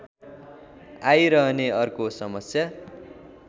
आइरहने अर्को समस्या